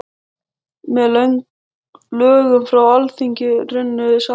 Með lögum frá Alþingi runnu saman